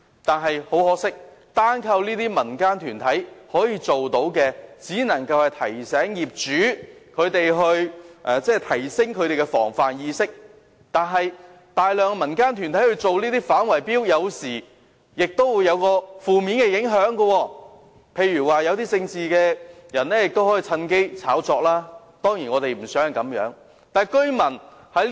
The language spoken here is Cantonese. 可是，很可惜，如果單靠這些民間團體，可以做到的可能只是提醒業主提升防範意識，而大量的民間團體進行這些反圍標工作，有時候亦會有一些負面影響，例如一些從政的人士趁機炒作，當然我們並不希望是這樣。